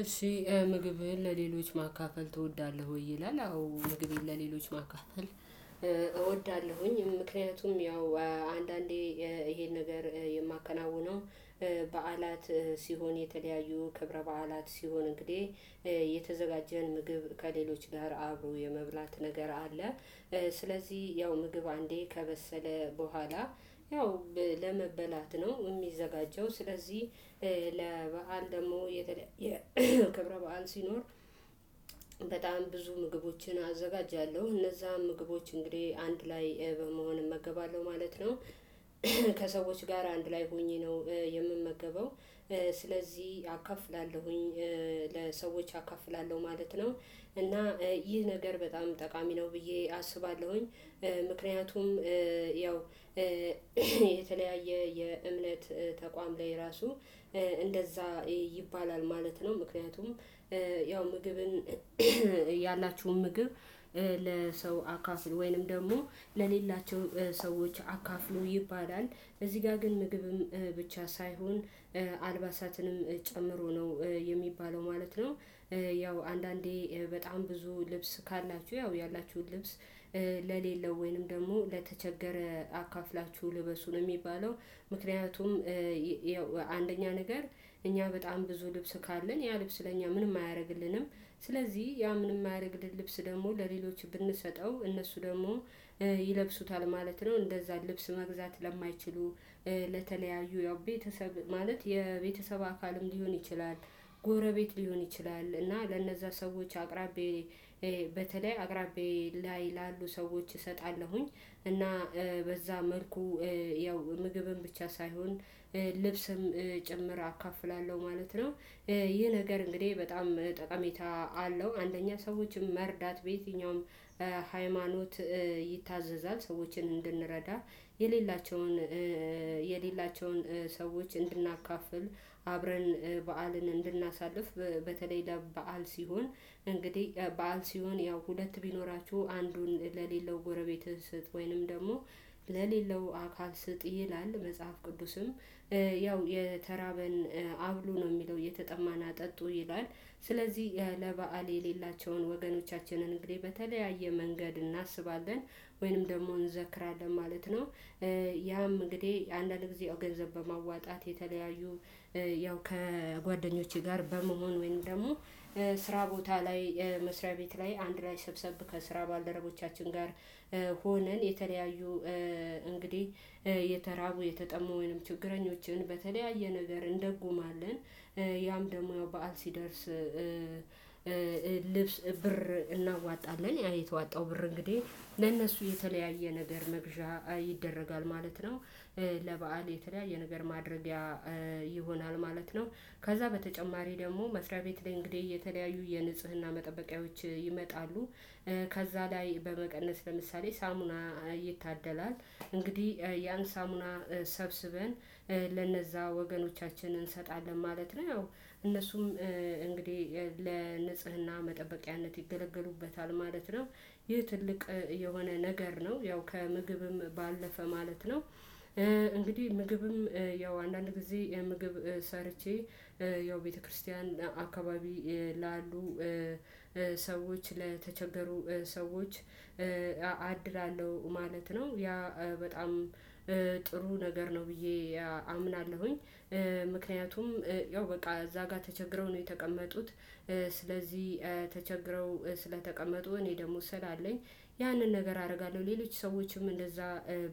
እሺ ምግብን ለሌሎች ማካፈል ትወዳለህ ይላል? አዎ ምግብን ለሌሎች ማካፈል እወዳለሁኝ። ምክንያቱም ያው አንዳንዴ ይሄን ነገር የማከናውነው ባዓላት ሲሆን የተለያዩ ከብረ በዓላት ሲሆን እንግዲህ የተዘጋጀን ምግብ ከሌሎች ጋር አብሮ የመብላት ነገር አለ። ስለዚህ ያው ምግብ አንዴ ከበሰለ በኋላ ያው ለመበላት ነው የሚዘጋጀው ስለዚህ ለበአል ደግሞ የተለየ ክብረ በዓል ሲኖር። በጣም ብዙ ምግቦችን አዘጋጃለሁ እነዛ ምግቦች እንግዲህ አንድ ላይ በመሆን እመገባለሁ ማለት ነው። ከሰዎች ጋር አንድ ላይ ሆኜ ነው የምመገበው። ስለዚህ አካፍላለሁኝ ለሰዎች አካፍላለሁ ማለት ነው። እና ይህ ነገር በጣም ጠቃሚ ነው ብዬ አስባለሁኝ። ምክንያቱም ያው የተለያየ የእምነት ተቋም ላይ ራሱ እንደዛ ይባላል ማለት ነው። ምክንያቱም ያው ምግብን ያላችሁን ምግብ ለሰው አካፍል ወይንም ደግሞ ለሌላቸው ሰዎች አካፍሎ ይባላል። እዚህ ጋር ግን ምግብም ብቻ ሳይሆን አልባሳትንም ጨምሮ ነው የሚባለው ማለት ነው። ያው አንዳንዴ በጣም ብዙ ልብስ ካላችሁ ያው ያላችሁን ልብስ ለሌለው ወይንም ደግሞ ለተቸገረ አካፍላችሁ ልበሱ የሚባለው ምክንያቱም አንደኛ ነገር እኛ በጣም ብዙ ልብስ ካለን ያ ልብስ ለእኛ ምንም አያደርግልንም። ስለዚህ ያ ምንም ማያደርግልን ልብስ ደግሞ ለሌሎች ብንሰጠው እነሱ ደግሞ ይለብሱታል ማለት ነው። እንደዛ ልብስ መግዛት ለማይችሉ ለተለያዩ ያው ቤተሰብ ማለት የቤተሰብ አካልም ሊሆን ይችላል። ጎረቤት ሊሆን ይችላል እና ለነዛ ሰዎች አቅራቢ በተለይ አቅራቢያ ላይ ያሉ ሰዎች እሰጣለሁኝ። እና በዛ መልኩ ያው ምግብን ብቻ ሳይሆን ልብስም ጭምር አካፍላለሁ ማለት ነው። ይህ ነገር እንግዲህ በጣም ጠቃሚታ አለው አንደኛ ሰዎችን መርዳት በየትኛውም ሃይማኖት ይታዘዛል ሰዎችን እንድንረዳ። የሌላቸውን የሌላቸውን ሰዎች እንድናካፍል አብረን በዓልን እንድናሳልፍ በተለይ ደግሞ በዓል ሲሆን እንግዲህ በዓል ሲሆን ያው ሁለት ቢኖራችሁ አንዱን ለሌለው ጎረቤትህ ስጥ ወይንም ደግሞ ለሌለው አካል ስጥ ይላል መጽሐፍ ቅዱስም። ያው የተራበን አብሎ ነው የሚለው የተጠማን አጠጡ ይላል ስለዚህ ለበአል የሌላቸውን ወገኖቻችንን እንግዲህ በተለያየ መንገድ እናስባለን ወይንም ደግሞ እንዘክራለን ማለት ነው። ያም እንግዲህ አንዳንድ ጊዜ ገንዘብ በማዋጣት የተለያዩ ያው ከጓደኞቼ ጋር በመሆን ወይንም ደግሞ ስራ ቦታ ላይ መስሪያ ቤት ላይ አንድ ላይ ሰብሰብ ከስራ ባልደረቦቻችን ጋር ሆነን የተለያዩ እንግዲህ የተራቡ የተጠሙ ችግረኞችን በተለያየ ነገር እንደጎማለን። ያም ደግሞ በዓል ሲደርስ ልብስ ብር እናዋጣለን ያ የተዋጣው ብር እንግዲህ ለእነሱ የተለያየ ነገር መግዣ ይደረጋል ማለት ነው። ለበአል የተለያየ ነገር ማድረጊያ ይሆናል ማለት ነው። ከዛ በተጨማሪ ደግሞ መስሪያ ቤት ላይ እንግዲህ የተለያዩ የንጽህና መጠበቂያዎች ይመጣሉ። ከዛ ላይ በመቀነስ ሐምሳሌ ሳሙና ይታደላል እንግዲህ ያን ሳሙና ሰብስበን ለነዛ ወገኖቻችን እንሰጣለን ማለት ነው። ያው እነሱም እንግዲህ ለንጽህና መጠበቂያነት ይገለገሉበታል ማለት ነው። ይህ ትልቅ የሆነ ነገር ነው ያው ከምግብም ባለፈ ማለት ነው። እንግዲህ ምግብም ያው አንዳንድ ጊዜ ምግብ ሰርቼ ያው ቤተክርስቲያን አካባቢ ላሉ ሰዎች ለተቸገሩ ሰዎች አድላለሁ ማለት ነው። ያ በጣም ጥሩ ነገር ነው ብዬ አምናለሁኝ ምክንያቱም ያው በቃ እዛ ጋር ተቸግረው ነው የተቀመጡት። ስለዚህ ተቸግረው ስለተቀመጡ እኔ ደግሞ ስላለኝ ያንን ነገር አደርጋለሁ ሌሎች ሰዎችም እንደዛ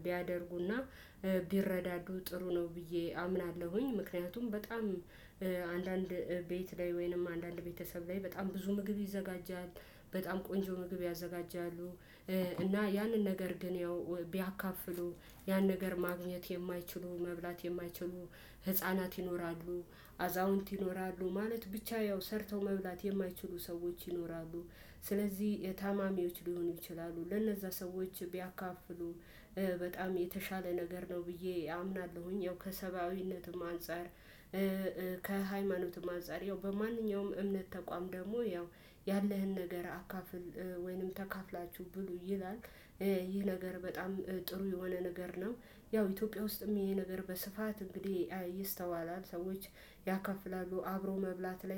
ቢያደርጉና ቢረዳዱ ጥሩ ነው ብዬ አምናለሁኝ። ምክንያቱም በጣም አንዳንድ ቤት ላይ ወይንም አንዳንድ ቤተሰብ ላይ በጣም ብዙ ምግብ ይዘጋጃል በጣም ቆንጆ ምግብ ያዘጋጃሉ። እና ያንን ነገር ግን ያው ቢያካፍሉ ያን ነገር ማግኘት የማይችሉ መብላት የማይችሉ ህፃናት ይኖራሉ። አዛውንት ይኖራሉ ማለት ብቻ ያው ሰርተው መብላት የማይችሉ ሰዎች ይኖራሉ። ስለዚህ ታማሚዎች ሊሆኑ ይችላሉ ለነዛ ሰዎች ቢያካፍሉ በጣም የተሻለ ነገር ነው ብዬ አምናለሁኝ። ያው ከሰብአዊነትም አንፃር ከሃይማኖትም አንፃር ያው በማንኛውም እምነት ተቋም ደግሞ ያው ያለህን ነገር አካፍል ወይንም ተካፍላችሁ ብሉ ይላል። ይህ ነገር በጣም ጥሩ የሆነ ነገር ነው። ያው ኢትዮጵያ ውስጥም ይሄ ነገር በስፋት እንግዲህ ይስተዋላል ሰዎች ያካፍላሉ አብረው መብላት ላይ